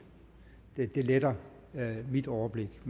det letter mit overblik